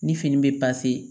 Ni fini bɛ